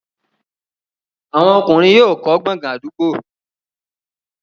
àwọn ọkùnrin yóò kọ́ gbọ̀ngàn àdúgbò.